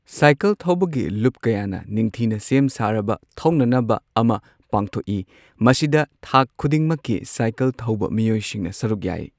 Cycle ꯊꯣꯕꯒꯤ ꯂꯨꯞ ꯀꯌꯥꯅ ꯅꯤꯡꯊꯤꯅ ꯁꯦꯝꯁꯥꯔꯕ ꯊꯧꯕꯒꯤ ꯑꯃ ꯄꯥꯡꯊꯣꯛꯏ꯫ ꯃꯁꯤꯗ ꯊꯥꯛ ꯈꯨꯗꯤꯡꯃꯛꯀꯤ ꯁꯥꯏꯀꯜ ꯊꯧꯕ ꯃꯤꯑꯣꯏꯁꯤꯡꯅ ꯁꯔꯨꯛ ꯌꯥꯏ꯫